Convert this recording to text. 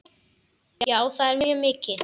Já, það er mjög mikið.